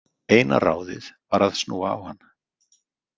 Eina ráðið var að snúa á hann.